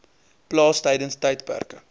plaas tydens tydperke